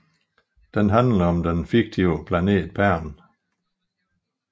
Den handler om den fiktive planet Pern